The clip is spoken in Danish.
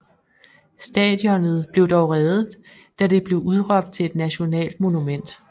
Stadionet blev dog reddet da det blev udråbt til at nationalt monument